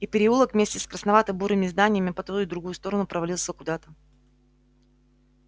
и переулок вместе с красновато-бурыми зданиями по ту и другую сторону провалился куда-то